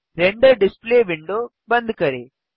render display window बंद करें